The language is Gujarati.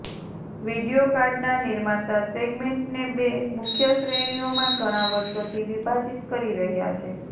વિડીયો કાર્ડના નિર્માતા સેગમેન્ટને બે મુખ્ય શ્રેણીઓમાં ઘણા વર્ષોથી વિભાજિત કરી રહ્યાં છે